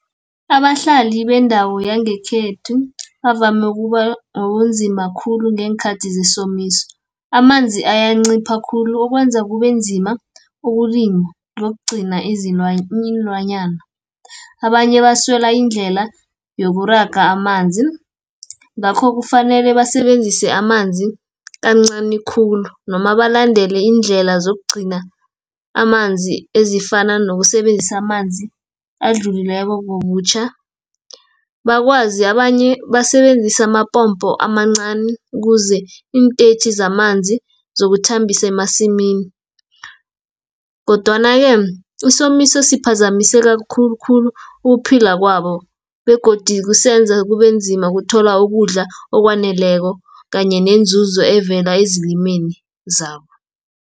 Abahlali bendawo yangekhethu, bavame ukubanobunzima khulu ngeenkhathi zesomiso. Amanzi ayancipha khulu ukwenza kubenzima ukulima, nokugcina iinlwanyana. Abanye baswela indlela yokuraga amanzi, ngakho kufanele basebenzise amanzi kancani khulu, noma balandele iindlela zokugcina amanzi ezifana nokusebenzisa amanzi adlulileko ngobutjha. Abanye basebenzisa amapompo amancani, ukuze iintetjhi zamanzi zokuthambise emasimini, kodwana -ke, isomiso siphazamiseka khulukhulu ukuphila kwabo, begodu kusenza kubenzima ukuthola ukudla okwaneleko, kanye neenzuzo evela ezilimeni zabo.